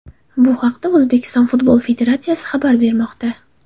Bu haqda O‘zbekiston Futbol Federatsiyasi xabar bermoqda .